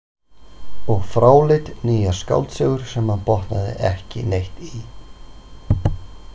Og fráleitt nýjar skáldsögur sem hann botnaði ekki neitt í.